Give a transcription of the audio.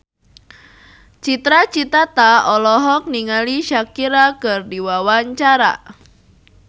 Cita Citata olohok ningali Shakira keur diwawancara